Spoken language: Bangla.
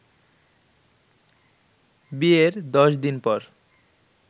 বিয়ের দশ দিন পর